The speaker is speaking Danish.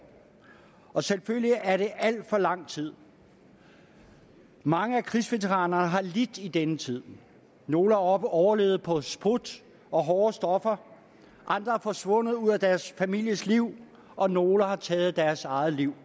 og selvfølgelig er det alt for lang tid mange af krigsveteranerne har lidt i den tid nogle har overlevet på sprut og hårde stoffer andre er forsvundet ud af deres families liv og nogle har taget deres eget liv